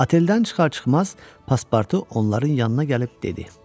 Oteldən çıxar-çıxmaz Pasportu onların yanına gəlib dedi: